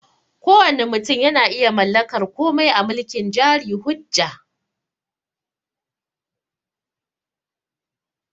Kowanne mutum yana iya mallakar komai a mulkin jari hujja